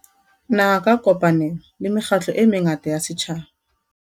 Naha ka kopanelo le mekgatlo e mengata ya setjhaba.